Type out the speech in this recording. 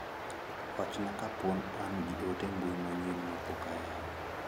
Wachna ka poni an gi ote mbui manyien mapok oyaw.